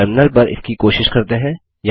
terminal पर इसकी कोशिश करते हैं